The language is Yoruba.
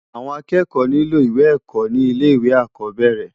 Awòn ákèékò nilò iwé èkò ni ilè iwé ákòbèrè